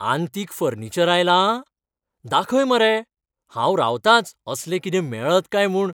आंतीक furniture आयलां? दाखय मरे. हांव रावतांच असलें कितें मेळत काय म्हूण.